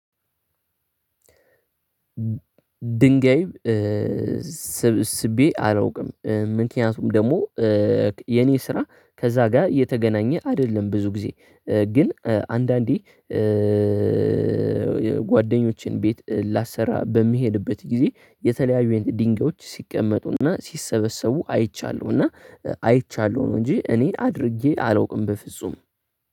ድንጋይ ስብስቤ አላውቅም። ምክንያቱም ደግሞ የኔ ስራ ከዛ ጋር እየተገናኘ አይደለም ብዙ ጊዜ ግን አንዳንዴ ጓደኞቼን ቤት ላሰራ በሚሄድበት ጊዜ የተለያዩ አይነት ድንጋዮች ሲቀመጡና ሲሰበሰቡ አይቻለሁና አይቻለሁ ነው። እንጂ እኔ አድርጌ አላውቅም በፍጹም